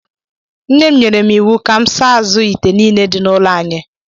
Nne m nyere m íwú Ka m saa azụ ite nile dị n'ụlọ anyị